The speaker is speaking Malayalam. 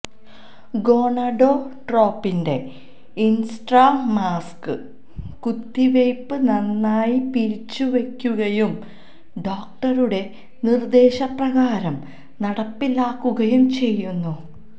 ഗോണഡോട്രോപിന്റെ ഇൻട്രാമാസ്കസ് കുത്തിവയ്പ്പ് നന്നായി പിരിച്ചുവക്കുകയും ഡോക്ടറുടെ നിർദ്ദേശപ്രകാരം നടപ്പിലാക്കുകയും ചെയ്യുന്നു